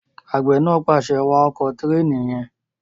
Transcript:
Àgbẹ̀ náà pàṣẹ, "wa ọkọ̀ tẹ̀ríìnì yẹn!"